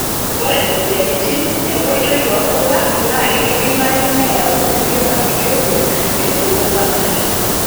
Ore moyiaritin enkoitoi oonkulak naa keidimayu neyau kulie bakiteria tenebo fangi.